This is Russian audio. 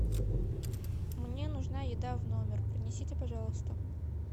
мне нужна еда в номер принесите пожалуйста